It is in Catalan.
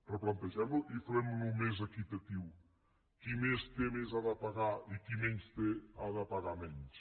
replantegem lo i fem lo més equitatiu qui més té més ha de pagar i qui menys té ha de pagar menys